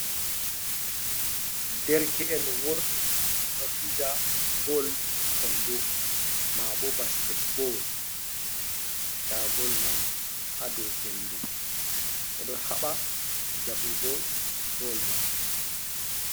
Derke'en worɓe ɗo fija bol kondo, maabo basketbol. Nda bol man ha dou hendu, ɓe ɗo haɓa jaɓugo bol man.